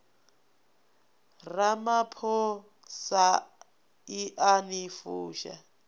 ramaphosa i a ni fusha